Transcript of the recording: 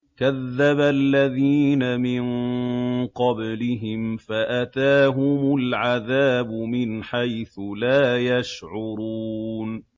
كَذَّبَ الَّذِينَ مِن قَبْلِهِمْ فَأَتَاهُمُ الْعَذَابُ مِنْ حَيْثُ لَا يَشْعُرُونَ